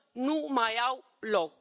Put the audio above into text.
nu mai au loc.